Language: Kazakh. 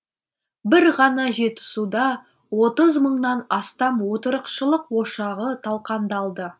бір ғана жетісуда отыз мыңнан астам отырықшылық ошағы талқандалды